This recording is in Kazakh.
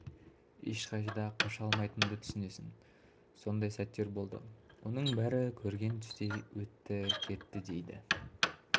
да ешқайда қаша алмайтыныңды түсінесің сондай сәттер болды оның бәрі көрген түстей өтті кетті дейді